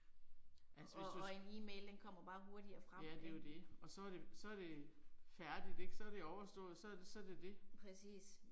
Altså hvis du. Ja det er jo det, og så er det, så er det færdigt ik. Så er det overstået, så så det det.